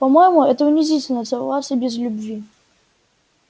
по моему это унизительно целоваться без любви